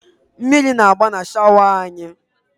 Mmiri na-agba na shọwa anyị.